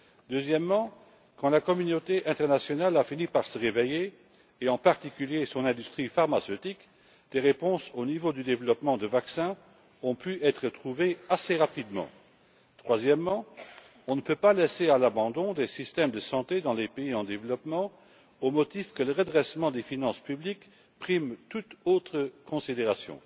Deuxièmement, quand la communauté internationale a fini par se réveiller, et en particulier son industrie pharmaceutique, des réponses au niveau du développement de vaccins ont pu être trouvées assez rapidement. Troisièmement, on ne peut pas laisser à l'abandon des systèmes de santé dans les pays en développement au motif que le redressement des finances publiques prime sur toute autre considération.